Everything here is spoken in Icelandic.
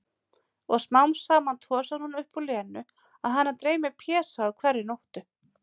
Og smám saman tosar hún upp úr Lenu að hana dreymi Pésa á hverri nóttu.